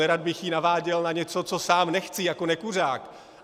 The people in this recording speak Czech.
Nerad bych ji naváděl na něco, co sám nechci jako nekuřák.